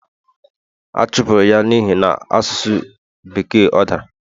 a chụpụrụ ya n'ihi na asụsụ Bekee o dara